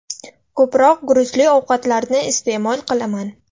Ko‘proq guruchli ovqatlarni iste’mol qilaman.